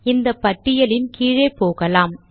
இந்த பட்டியலின் கீழே போகலாம்